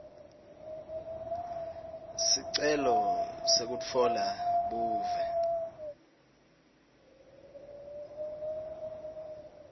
sicelo sekutfola buve